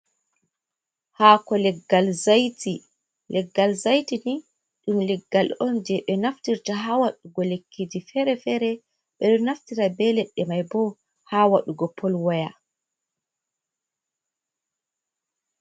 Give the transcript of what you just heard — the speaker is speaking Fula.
Hako leggal zaiti ,leggal zaiti ni dum leggal on je ɓe naftirta hawadugo lekkiji fere-fere, be do naftira ɓe leɗɗe mai ɓo hawadugo pol waya.